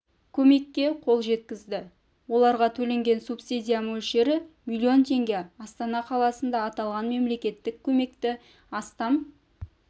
көмекке қол жеткізді оларға төленген субсидия мөлшері миллион теңге астана қаласында аталған мемлекеттік көмекті астам